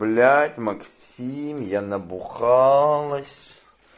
блять максим я набухалась